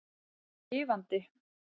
Hún er lifandi.